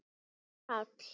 Jón Páll.